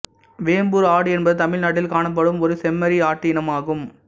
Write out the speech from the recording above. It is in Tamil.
வேம்பூர் ஆடு என்பது தமிழ்நாட்டில் காணப்படும் ஒரு செம்மறியாட்டு இனமாகும்